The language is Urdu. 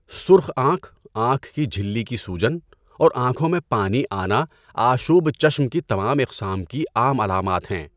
سرخ آنکھ، آنکھ کی جھلی کی سوجن، اور آنکھوں میں پانی آنا آشوب چشم کی تمام اقسام کی عام علامات ہیں۔